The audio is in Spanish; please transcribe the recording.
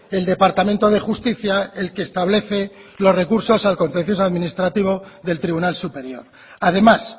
el departamento de justicia el que establece los recursos al contencioso administrativo del tribunal superior además